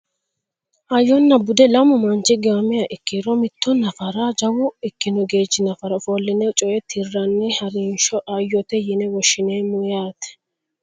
Hayyonna bude lamu manchi giwamiha ikkiro mitto nafaraho jawa ikkino geerchi nafara ofolline coye tirranni harinsho hayyote yine woshshineemmo yaate